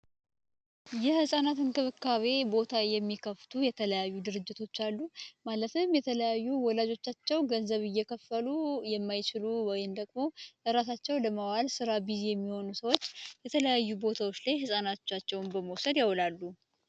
የህፃናት እንክብካቤ ቦታ የሚከፍቱ የተለያዩ ድርጅቶች አሉ። ማለትም የተለያዩ ወላጆቻቸው ገንዘብ እየከፈሉ የማይችሉ ወይንም ደግሞ ራሳቸው ለማዋል ስራ ቢዚ የሚሆኑ ሰዎች የተለያዩ ቦታዎች ላይ ህፃኖቻቸውን በመውሰድ ያውላሉ።